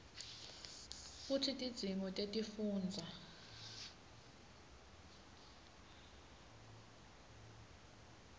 kutsi tidzingo tetifundza